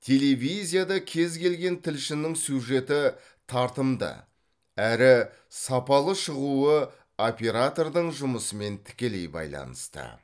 телевизияда кез келген тілшінің сюжеті тартымды әрі сапалы шығуы оператордың жұмысымен тікелей байланысты